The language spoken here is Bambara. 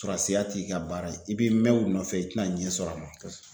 Sɔrasiya t'i ka baara ye i b'i mɛn o nɔfɛ i tɛna ɲɛ sɔrɔ a ma .